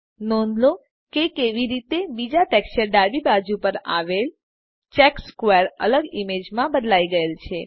નોંધ લો કેવી રીતે બીજા ટેક્સચરની ડાબી બાજુ પર આવેલ ચેકર્ડ સ્ક્વેર અલગ ઈમેજ માં બદલાઈ ગયેલ છે